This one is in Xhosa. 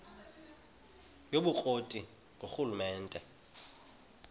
yobukro ti ngurhulumente